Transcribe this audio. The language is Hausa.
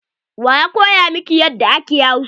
Wa ya koya miki yadda ake Hausa?